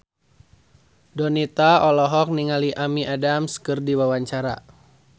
Donita olohok ningali Amy Adams keur diwawancara